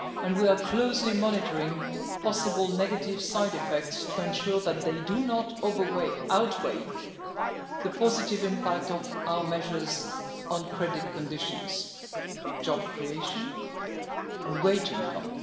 We are closely monitoring possible negative side effects to ensure that they do not outweigh the positive impact of our measures on credit conditions, job creation and wage income.